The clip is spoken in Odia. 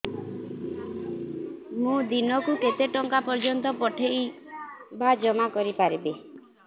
ମୁ ଦିନକୁ କେତେ ଟଙ୍କା ପର୍ଯ୍ୟନ୍ତ ପଠେଇ ବା ଜମା କରି ପାରିବି